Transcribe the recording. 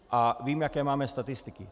A vím, jaké máme statistiky.